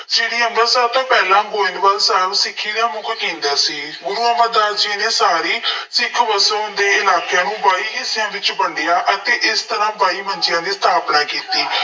ਸ਼੍ਰੀ ਅੰਮ੍ਰਿਤਸਰ ਤੋਂ ਪਹਿਲਾਂ, ਗੋਇੰਦਵਾਲ ਸਾਹਿਬ ਸਿੱਖੀ ਦਾ ਮੁੱਖ ਕੇਂਦਰ ਸੀ। ਗੁਰੂ ਅਮਰਦਾਸ ਜੀ ਨੇ ਸਾਰੀ ਸਿੱਖ ਵਸੋਂ ਦੇ ਇਲਾਕਿਆਂ ਨੂੰ ਬਾਈ ਹਿੱਸਿਆਂ ਵਿੱਚ ਵੰਡਿਆ ਅਤੇ ਇਸ ਤਰ੍ਹਾਂ ਬਾਈ ਮੰਜ਼ੀਆਂ ਦੀ ਸਥਾਪਨਾ ਕੀਤੀ।